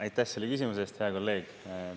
Aitäh selle küsimuse eest, hea kolleeg!